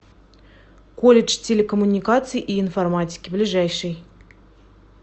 колледж телекоммуникаций и информатики ближайший